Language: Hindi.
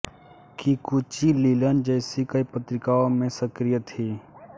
किकुची लिनन जैसी कई पत्रिकाओं में सक्रिय थीं